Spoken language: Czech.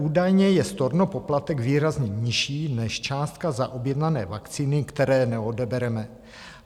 Údajně je stornopoplatek výrazně nižší než částka za objednané vakcíny, které neodebereme.